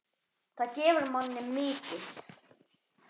Það gefur manni mikið.